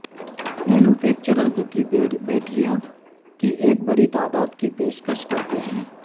manufacturers کی بیٹریاں کی ایک بڑی تعداد کی پیشکش کرتے ہیں